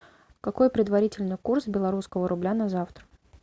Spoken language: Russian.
какой предварительный курс белорусского рубля на завтра